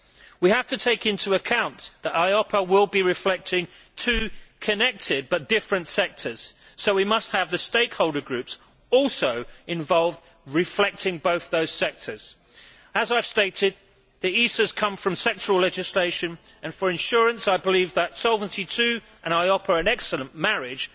We have to take into account that EIOPA will be reflecting two connected, but different, sectors so we must have the stakeholder groups involved too, reflecting both those sectors. As I have stated, the ISAs come from sectoral legislation and for insurance, I believe that Solvency II and EIOPA are an excellent marriage.